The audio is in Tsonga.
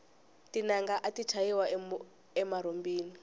tinanga ati chayiwa emarhumbini